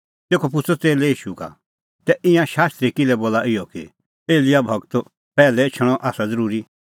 तेखअ पुछ़अ च़ेल्लै ईशू का तै ईंयां शास्त्री किल्है बोला इहअ कि एलियाह गूरो पैहलै एछणअ आसा ज़रूरी